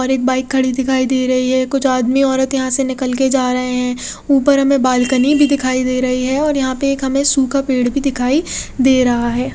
और एक बाईक खड़ी दिखाई दे रही है कुछ आदमी औरत यहां निकल के जा रहे हैं ऊपर हमे बाल्कनी भी दिखाई दे रही हैं और यहां पे एक हमे सूखा पेड़ भी दिखाई दे रहा है।